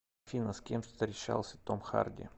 афина с кем встречался том харди